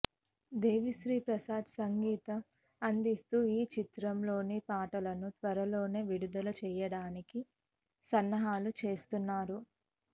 దేవిశ్రీప్రసాద్ సంగీతం అందిస్తున్న ఈ చిత్రంలోని పాటలను త్వరలోనే విడుదల చేయడానికి సన్నాహాలు చేస్తున్నారు